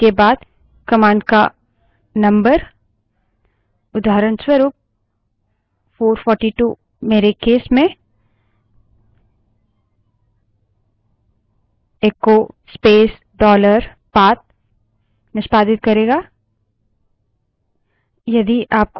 type करें विस्मयादिबोधक चिह्न इक्स्लामेशन mark जिसके बाद command का number उदाहरणस्वरूप 442 मेरे case में echo space dollar path निष्पादित करेगा